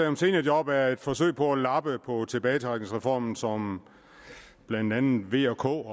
om seniorjob er et forsøg på at lappe på tilbagetrækningsreformen som blandt andet v k